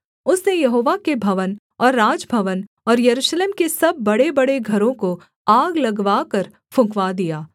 उसने यहोवा के भवन और राजभवन और यरूशलेम के सब बड़ेबड़े घरों को आग लगवाकर फुँकवा दिया